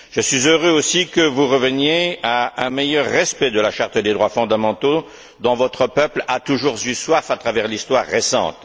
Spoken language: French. Je suis heureux aussi que vous reveniez à un meilleur respect de la Charte des droits fondamentaux, dont votre peuple a toujours eu soif à travers l'histoire récente.